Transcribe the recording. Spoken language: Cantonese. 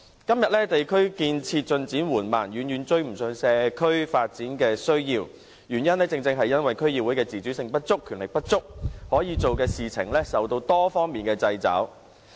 今天，地區建設進展緩慢，遠遠無法追上社區發展的需要，這正正因為區議會的自主性不足、權力不足，可做的事受到多方面的掣肘。